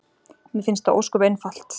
Mér finnst það ósköp einfalt.